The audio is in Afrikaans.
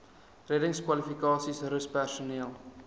reddingskwalifikasies rus personeel